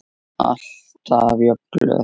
Alltaf jafn glöð.